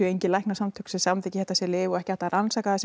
engin læknasamtök sem samþykkja þetta sem lyf og ekki hægt að rannsaka það sem